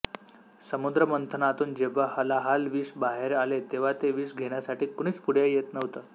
समुद्रमंथनातून जेव्हा हलाहल विष बाहेर आले तेव्हा ते विष घेण्यासाठी कुणीच पुढे येत नव्हतं